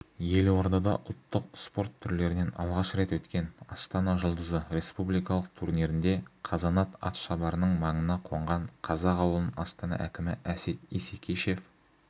елордада ұлттық спорт түрлерінен алғаш рет өткен астана жұлдызы республикалық турнирінде қазанат атшабарының маңына қонған қазақ ауылын астана әкімі әсет исекешев